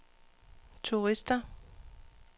turister